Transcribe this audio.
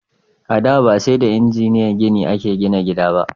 A da, ba sai da injiniyan gini a ke gina gida ba